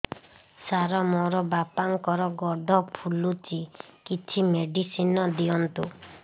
ସାର ମୋର ବାପାଙ୍କର ଗୋଡ ଫୁଲୁଛି କିଛି ମେଡିସିନ ଦିଅନ୍ତୁ